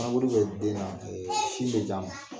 bɛ den na ɛɛ sin bɛ j'a ma